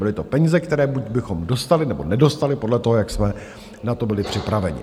Byly to peníze, které buď bychom dostali, nebo nedostali podle toho, jak jsme na to byli připraveni.